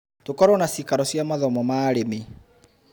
Tũkorwo na ciikaro cia mathomo ma arĩmi.